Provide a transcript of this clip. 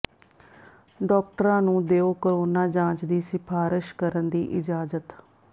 ਡਾਕਟਰਾਂ ਨੂੰ ਦਿਓ ਕੋਰੋਨਾ ਜਾਂਚ ਦੀ ਸਿਫਾਰਸ਼ ਕਰਨ ਦੀ ਇਜਾਜ਼ਤ